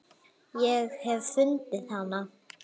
Ég hef fundið hana!